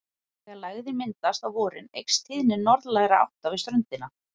Þegar lægðin myndast á vorin eykst tíðni norðlægra átta við ströndina.